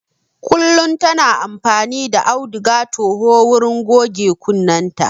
Kullum ta na amfani da auduga toho wurin goge kunnenta